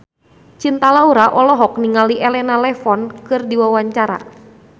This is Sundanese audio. Cinta Laura olohok ningali Elena Levon keur diwawancara